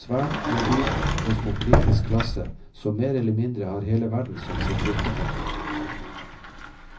svært mobil kosmopolitisk klasse som mer eller mindre har hele verden som sitt virkefelt.